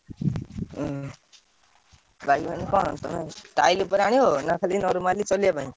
ଓଃ bike ମାନେ କଣ? style ପାଇଁ ଆଣିବ ନାଁ normally ଚଳେଇବା ପାଇଁ?